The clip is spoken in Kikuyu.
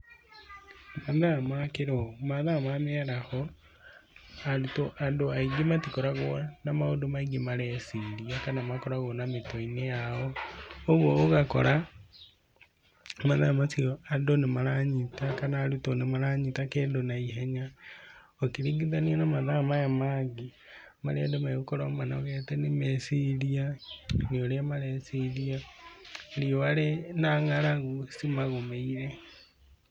Mathaa ma mĩaraho, arutwo, andũ aingĩ matikoragwo na maũndũ maingĩ mareciria kana makoragwo na mĩtwe-inĩ yao. Ũguo ũgakora mathaa macio andũ nĩ maranyita kana arutwo nĩ maranyita kĩndũ na ihenya, ũkĩringithania na mathaa maya mangĩ marĩa andũ megũkorwo manogete nĩ meciria nĩ ũrĩa mareciria, riũa na ng'aragu cimagomeire.